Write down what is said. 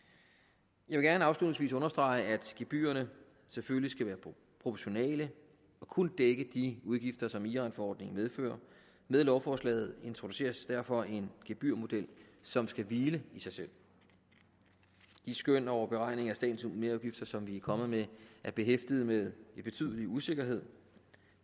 jeg vil gerne afslutningsvis understrege at gebyrerne selvfølgelig skal være proportionale og kun dække de udgifter som iranforordningen medfører med lovforslaget introduceres derfor en gebyrmodel som skal hvile i sig selv de skøn over beregning af statens merudgifter som vi er kommet med er behæftet med en betydelig usikkerhed